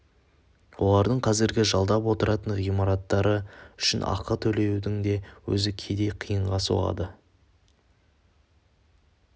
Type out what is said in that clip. олардың қазіргі жалдап отыратын ғимараттары үшін ақы төлеудің өзі кейде қиынға соғады